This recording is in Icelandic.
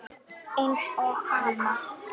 Eins og hana.